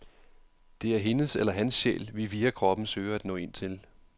Det er hendes eller hans sjæl, vi via kroppen søger at nå ind til.